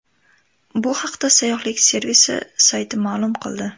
Bu haqda sayyohlik servisi sayti ma’lum qildi .